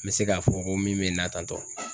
N bɛ se k'a fɔ ko min bɛ na tantɔ